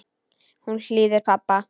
Hún hlýðir pabba.